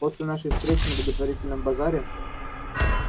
после нашей встречи на благотворительном базаре